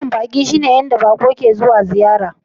Yankunan baƙi shine inda baƙon ke zuwa ziyartar masu laifi..